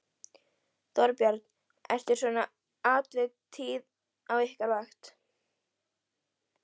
Þorbjörn: Eru svona atvik tíð á ykkar vakt?